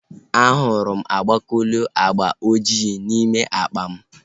A hụrụ m ogbakuluu agba ojii n'ime akpa m